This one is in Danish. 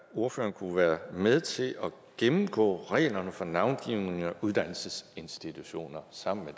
ordføreren kunne være med til at gennemgå reglerne for navngivning af uddannelsesinstitutioner sammen med